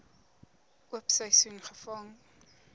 oop seisoen gevang